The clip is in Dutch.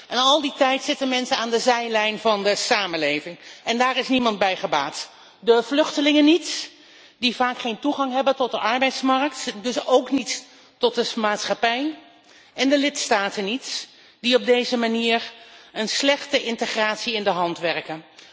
En al die tijd staan mensen aan de zijlijn van de samenleving en daar is niemand bij gebaat. De vluchtelingen niet, die vaak geen toegang hebben tot de arbeidsmarkt en dus ook niet tot de maatschappij, en de lidstaten niet, die op deze manier een slechte integratie in de hand werken.